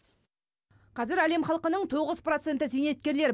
қазір әлем халқының тоғыз проценті зейнеткерлер